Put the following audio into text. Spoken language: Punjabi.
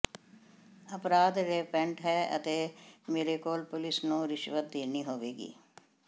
ਅਪਰਾਧ ਰੈਂਪੈਂਟ ਹੈ ਅਤੇ ਮੇਰੇ ਕੋਲ ਪੁਲਿਸ ਨੂੰ ਰਿਸ਼ਵਤ ਦੇਣੀ ਹੋਵੇਗੀ